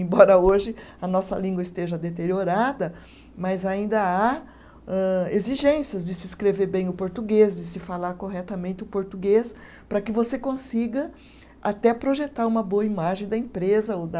Embora hoje a nossa língua esteja deteriorada, mas ainda há âh exigências de se escrever bem o português, de se falar corretamente o português, para que você consiga até projetar uma boa imagem da empresa ou da